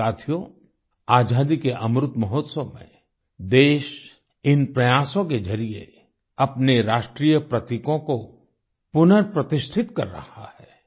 साथियो आज़ादी के अमृत महोत्सव में देश इन प्रयासों के जरिए अपने राष्ट्रीय प्रतीकों को पुनः प्रतिष्ठित कर रहा है